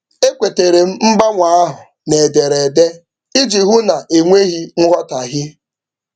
E kwetere m mgbanwe ahụ n'ederede iji hụ na e nweghị nghọtaghie.